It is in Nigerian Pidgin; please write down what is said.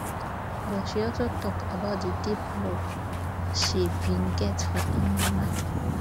but she also tok about di deep love she bin get for her mama